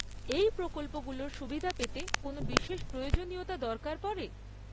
এই প্রকল্পগুলোর সুবিধা পেতে কোন বিশেষ প্রয়োজনীয়তা দরকার পরে?